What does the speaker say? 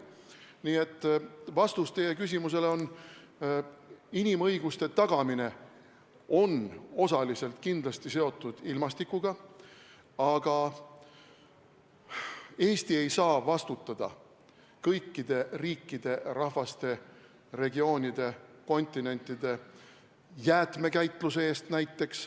Nii et vastus teie küsimusele on, et inimõiguste tagamine on osaliselt kindlasti seotud ilmastikuga, aga Eesti ei saa vastutada kõikide riikide, rahvaste, regioonide, kontinentide jäätmekäitluse eest näiteks.